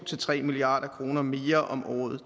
tre milliard kroner mere om året